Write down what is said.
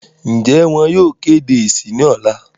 ǹjẹ́ wọn yóò kéde èsì ní ọ̀la?